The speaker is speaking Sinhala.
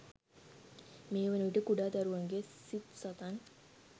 මේ වන විට කුඩා දරුවන්ගේ සිත් සතන්